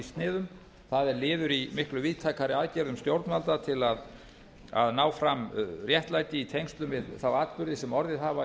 sniðum það er liður í miklu víðtækari aðgerðum stjórnvalda til að ná fram réttlæti í tengslum við þá atburði sem orðið hafa í